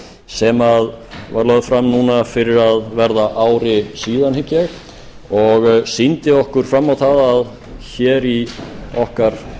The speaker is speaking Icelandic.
sem lögð var fram fyrir að verða ári síðan hygg ég og sýndi okkur fram á að hér í okkar